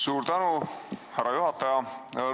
Suur tänu, härra juhataja!